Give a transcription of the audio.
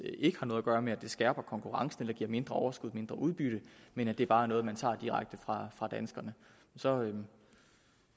har noget at gøre med at det skærper konkurrencen eller giver mindre overskud mindre udbytte men det bare er noget men tager direkte fra danskerne så har man